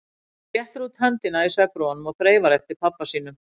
Hún réttir út höndina í svefnrofunum og þreifar eftir pabba sínum.